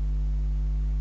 ڌرم شالا